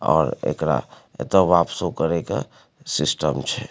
और एकरा एते वापसो करे के सिस्टम छै।